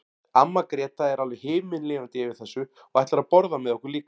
Amma Gréta er alveg himinlifandi yfir þessu og ætlar að borða með okkur líka.